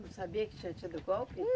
Não sabia que tinha tido golpe?